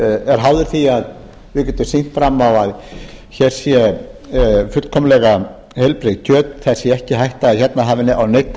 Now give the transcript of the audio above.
er háður því að við getum sýnt fram á að hér sé fullkomlega heilbrigt kjöt það sé ekki hætta á að hérna hafi á neinn